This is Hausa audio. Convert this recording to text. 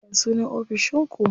Ya sunan ofishin ku?